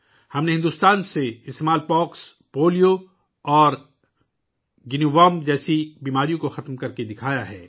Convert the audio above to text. ہم نے بھارت سے چیچک، پولیو اور گائنی ورم جیسی بیماریوں کا خاتمہ کر دیا ہے